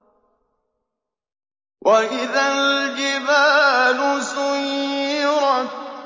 وَإِذَا الْجِبَالُ سُيِّرَتْ